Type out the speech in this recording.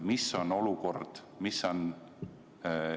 Mis on olukord?